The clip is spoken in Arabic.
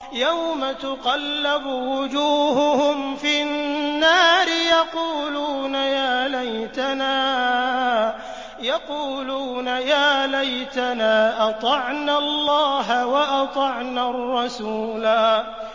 يَوْمَ تُقَلَّبُ وُجُوهُهُمْ فِي النَّارِ يَقُولُونَ يَا لَيْتَنَا أَطَعْنَا اللَّهَ وَأَطَعْنَا الرَّسُولَا